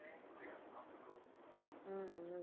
உம் உம்